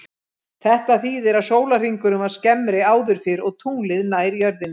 Þetta þýðir að sólarhringurinn var skemmri áður fyrr og tunglið nær jörðinni.